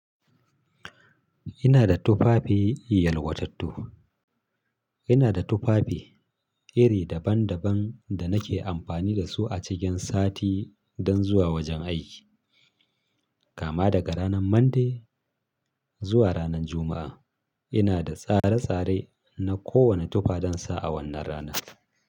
Ina da tufafi yalwatattu. Ina da tufafi iri daban daban da nake amfani da su a cikin sati don zuwa wajen aiki. Kama daga ranar Monday zuwa ranar Juma'a ina da tsare tsare na kowane tufa don sa a wannan rana.